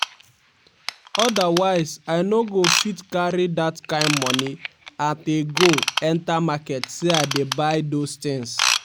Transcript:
odawsie i no go fit carry dat kain money at a go enta market say i dey buy those tins